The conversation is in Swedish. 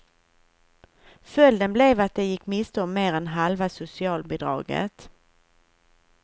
Följden blev att de gick miste om mer än halva socialbidraget.